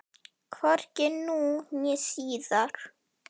Hvorki nú né síðar.